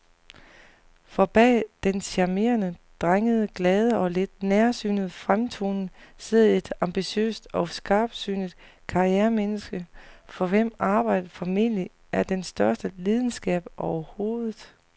For bag den charmerende, drengede, glade og lidt nærsynede fremtoning sidder et ambitiøst og skarpsynet karrieremenneske, for hvem arbejdet formentlig er den største lidenskab overhovedet.